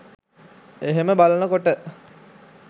එහෙම බලන කොට